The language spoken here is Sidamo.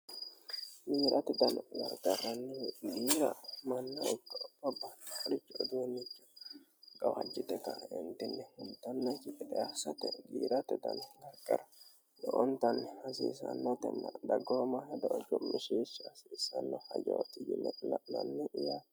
Giiratte dano garigarani woyite giira manna ikko babbaxinoricho uduunicho gawajjite kaenitini ittanoki gede asatte giiratte dano garigara lowwonittani hasiisanotena daggomaho hedo cumishisha hasisanno hedoti yinne la'nanni yaate